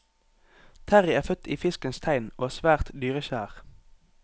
Terrie er født i fiskens tegn og er svært dyrekjær.